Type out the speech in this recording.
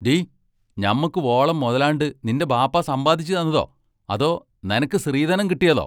Tea, ഞമ്മക്ക് വോളം മൊതലാണ്ട് നിന്റെ ബാപ്പാ സമ്പാദിച്ചുതന്നതോ, അതോ നനക്ക് സ്ത്രീധനം കിട്ടതോ?